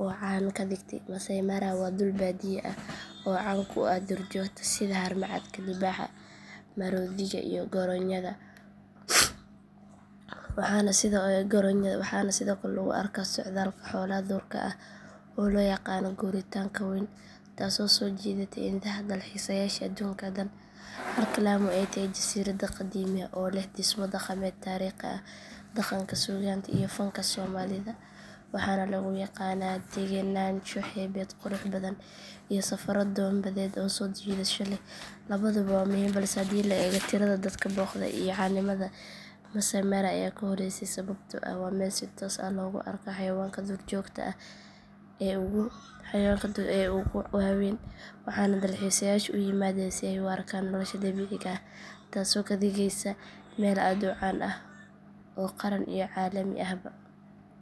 oo caan ka dhigtay maasai mara waa dhul baadiye ah oo caan ku ah duurjoogta sida haramcadka libaaxa maroodiga iyo goronyada waxaana sidoo kale lagu arkaa socdaalka xoolaha duurka ah oo loo yaqaan guuritaanka weyn taasoo soo jiidata indhaha dalxiisayaasha aduunka dhan halka lamu ay tahay jasiirad qadiimi ah oo leh dhismo dhaqameed taariikhi ah dhaqanka suugaanta iyo fanka soomaalida waxaana lagu yaqaanaa degenaansho xeebeed qurux badan iyo safarro doon badeed oo soo jiidasho leh labaduba waa muhiim balse haddii la eego tirada dadka booqda iyo caanimada maasai mara ayaa ku horeysa sababtoo ah waa meel si toos ah loogu arko xayawaanka duurjoogta ah ee ugu waaweyn waxaana dalxiisayaashu u yimaadaan si ay u arkaan nolosha dabiiciga ah taasoo ka dhigaysa meel aad u caan ah oo qaran iyo caalami ahba ah.